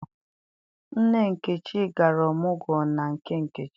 Nne Nkechi gara ọmụgwọ na nke nkechi.